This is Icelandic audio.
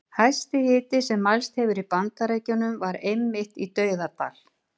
Hæsti hiti sem mælst hefur í Bandaríkjunum var einmitt í Dauðadal.